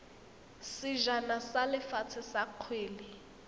sejana sa lefatshe sa kgwele